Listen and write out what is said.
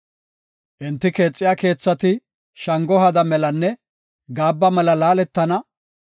Enti keexiya keethati shango haada melanne gaabba mela laaletana.